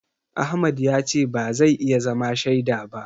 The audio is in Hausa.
Ahmad ya ce ba zai iya zama shaida ba.